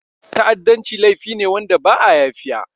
Ta'adanci laifi ne wanda ba'a yafiya.